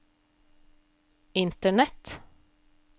internett